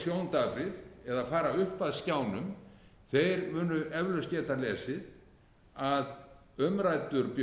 sjóndaprir eða fara upp að skjánum þeir munu eflaust geta lesið að umræddur